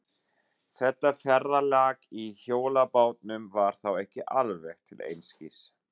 Þetta ferðalag í hjólabátnum var þá ekki alveg til einskis.